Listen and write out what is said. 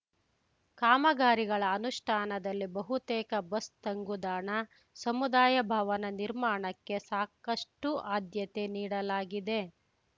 ಕಾಮಗಾರಿಗಳ ಅನುಷ್ಠಾನದಲ್ಲಿ ಬಹುತೇಕ ಬಸ್‌ ತಂಗುದಾಣ ಸಮುದಾಯ ಭವನ ನಿರ್ಮಾಣಕ್ಕೆ ಸಾಕಷ್ಟುಆದ್ಯತೆ ನೀಡಲಾಗಿದೆ